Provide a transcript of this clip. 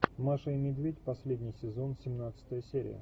маша и медведь последний сезон семнадцатая серия